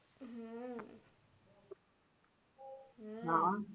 હમ હમ